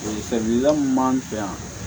Segu la min b'an fɛ yan